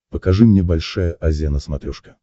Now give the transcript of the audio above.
покажи мне большая азия на смотрешке